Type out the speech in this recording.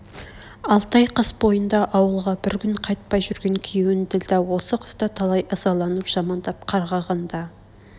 алты ай қыс бойында ауылға бір күн қайтпай жүрген күйеун ділдә осы қыста талай ызаланып жамандап қарғаған да